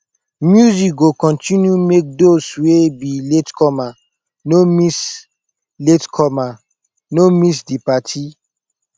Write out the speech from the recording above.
music go continue make dose wey be latecomer no miss latecomer no miss di party